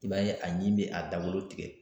I b'a ye a ɲi bɛ a dawolo tigɛ.